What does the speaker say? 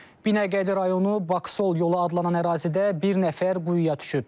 Binəqədi rayonu Baksol yolu adlanan ərazidə bir nəfər quyuya düşüb.